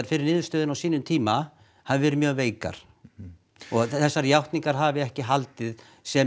fyrir niðurstöðunni á sínum tíma hafi verið mjög veikar þessar játningar hafi ekki haldið sem